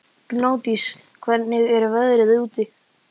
Gnádís, hvernig er veðrið úti?